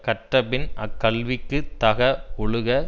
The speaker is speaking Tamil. கற்ற பின்பு அக்கல்விக்குத் தக ஒழுக